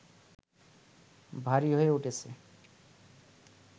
ভারী হয়ে উঠছে